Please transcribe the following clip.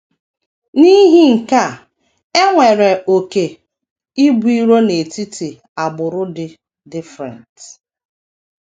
N’ihi nke a, e nwere oké ibu iro n’etiti agbụrụ dị different.